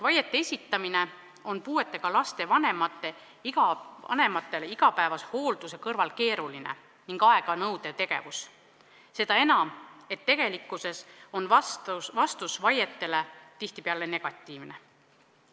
Vaide esitamine on puudega lapse vanematele igapäevase hoolduse kõrval keeruline ning nõuab aega, seda enam, et vastus vaidele on tihtipeale negatiivne.